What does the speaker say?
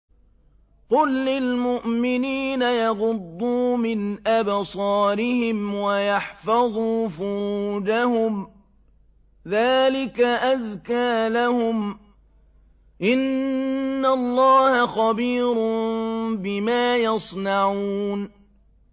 قُل لِّلْمُؤْمِنِينَ يَغُضُّوا مِنْ أَبْصَارِهِمْ وَيَحْفَظُوا فُرُوجَهُمْ ۚ ذَٰلِكَ أَزْكَىٰ لَهُمْ ۗ إِنَّ اللَّهَ خَبِيرٌ بِمَا يَصْنَعُونَ